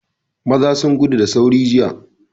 Maza sun gudu da sauri jiya.